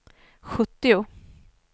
sjuttio